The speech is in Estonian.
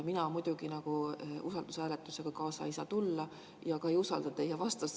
Mina muidugi usaldushääletusega kaasa ei saa tulla ja ka ei usalda teie vastust.